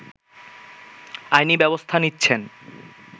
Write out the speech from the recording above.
আইনী ব্যবস্থা নিচ্ছেন